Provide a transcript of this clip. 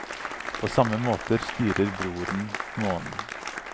På samme måte styrer broren månen.